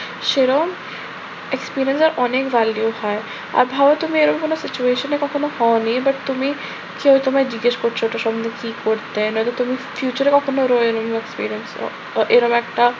সেরকম experience এর অনেক values হয়। আর ধর তুমি এরকম কোন situation এ কখনো হওনি but তুমি কেউ তোমায় জিজ্ঞেস করছে ওটা সম্বন্ধে কি করতে? নয়তো তুমি future এ কখনো experience ও এরকম একটা